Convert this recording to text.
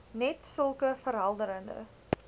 net sulke verhelderende